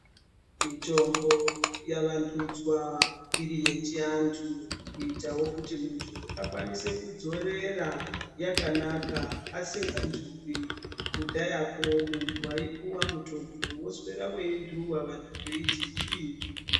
Mitombo yavandudzwa iri yechiantu kuitawo kuti muntu akwanise kudzorera yakanaka asingantupi kudhayakwo muntu waipuwe mutombo woswera weintuwa vantu veiti zvini.